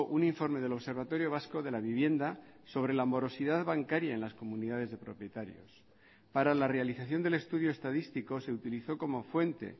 un informe del observatorio vasco de la vivienda sobre la morosidad bancaria en las comunidades de propietarios para la realización del estudio estadístico se utilizó como fuente